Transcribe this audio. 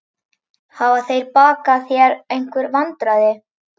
Hafa þeir bakað þér einhver vandræði?